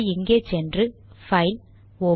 அதை இங்கே சென்று பைல்